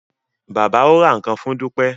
Bàbá o rà nkán fún Dupe.